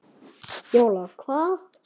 Jóla hvað?